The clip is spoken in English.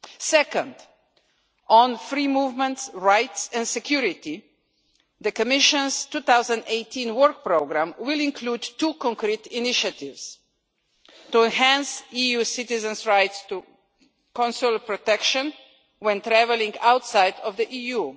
Secondly, on free movement, rights and security, the Commission's 2018 work programme will include two specific initiatives to enhance EU citizens' rights to consular protection when traveling outside of the EU.